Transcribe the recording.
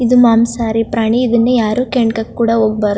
ಇದು ಮಾಂಸಹಾರಿ ಪ್ರಾಣಿ ಇದನ್ನಾ ಯಾರು ಕೆಣಕಕ್ಕೆ ಕೂಡ ಹೋಗ --